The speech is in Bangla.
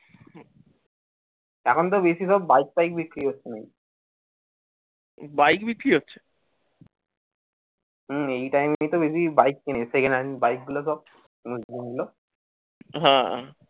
এখন তো বেশিরভাগ বাইক ফাইক বিক্রি হচ্ছে হুম এই time এ তো বেশি বাইক কেনে second hand bike গুলো সব